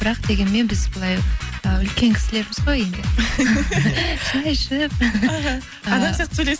бірақ дегенмен біз былай ы үлкен кісілерміз ғой енді шәй ішіп іхі адам сияқты